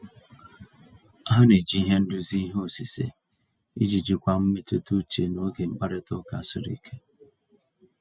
Ha na-eji ihe nduzi ihe osise iji jikwaa mmetụta uche n'oge mkparịta ụka siri ike.